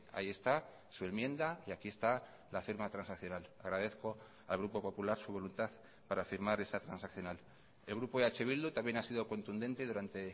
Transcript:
ahí está su enmienda y aquí esta la firma transaccional agradezco al grupo popular su voluntad para firmar esa transaccional el grupo eh bildu también ha sido contundente durante